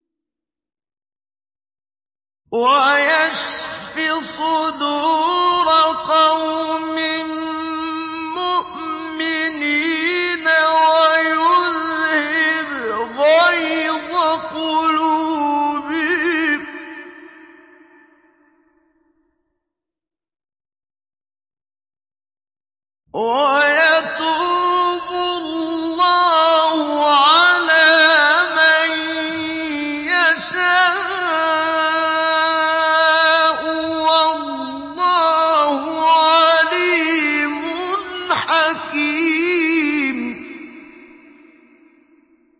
وَيُذْهِبْ غَيْظَ قُلُوبِهِمْ ۗ وَيَتُوبُ اللَّهُ عَلَىٰ مَن يَشَاءُ ۗ وَاللَّهُ عَلِيمٌ حَكِيمٌ